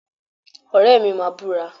Ọ̀rẹ́ mi máa búra